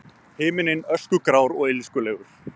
Himinninn öskugrár og illskulegur.